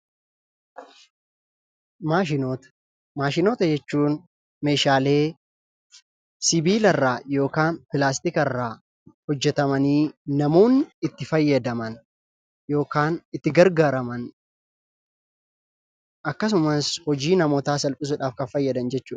Maashinoota:maashinoota jechuun meeshaalee sibiilarraa yookaan pilaastikarraa hojjetamanii namoonni itti fayyadaman yookaan itti gargaaraman akkasumas hojii namootaa salphisuudhaaf kan fayyadaman jechuudha.